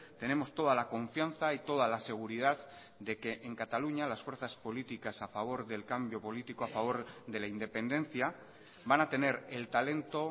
tenemos toda la confianza y toda la seguridad de que en cataluña las fuerzas políticas a favor del cambio político a favor de la independencia van a tener el talento